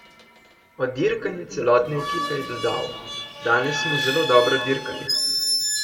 O dirkanju celotne ekipe je dodal: "Danes smo zelo dobro dirkali.